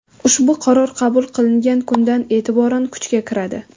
Ushbu Qaror qabul qilingan kundan e’tiboran kuchga kiradi.